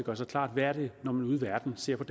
os klart hvad det er man ude i verden ser på